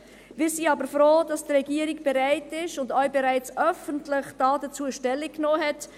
Wir sind aber froh, dass die Regierung bereit ist und dazu auch bereits öffentlich Stellung genommen hat;